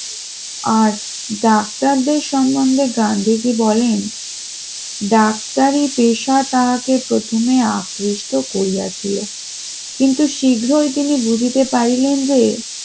আর ডাক্তারদের সম্বন্ধে গান্ধীজি বলেন ডাক্তারি পেশা তাহাকে প্রথমে আকৃষ্ট করিয়াছিল কিন্তু শীঘ্রই তিনি বুঝিতে পারলেন যে